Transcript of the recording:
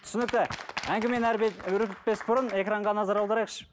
түсінікті әңгімені өрбітпес бұрын экранға назар аударайықшы